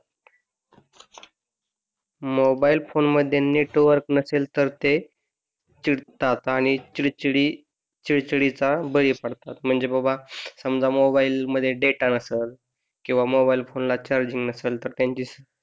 mobile phone मध्ये network नसेल तर ते चिडतात आणि ते चिडचिडी चिडचिडीचा बळी पडतात म्हणजे बाबा समजा मोबाइल मध्ये डेटा नसेल तर मोबाइल फोन ला चार्जिंग नसेल तर त्यांची